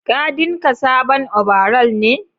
Ka dinka sabon obaral ne?